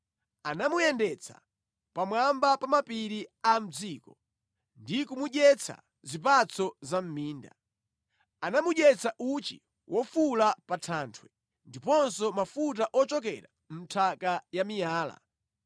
Anamuyendetsa pamwamba pa mapiri a mʼdziko ndi kumudyetsa zipatso za mʼminda. Anamudyetsa uchi wofula pa thanthwe, ndiponso mafuta ochokera mʼnthaka ya miyala,